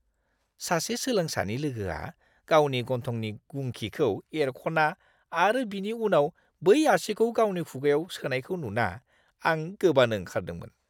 सासे सोलोंसानि लोगोआ गावनि गन्थंनि गुंखिखौ एरख'ना आरो बिनि उनाव बै आसिखौ गावनि खुगायाव सोनायखौ नुना, आं गोबानो ओंखारदोंमोन!